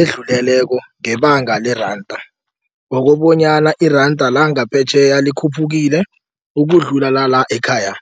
edluleleko ngebanga leranda ngokobonyana iranda langaphetjheya likhuphukile ukudlula la ekhaya.